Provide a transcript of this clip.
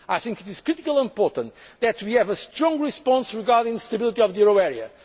well. I think it is critically important that we have a strong response regarding stability of the euro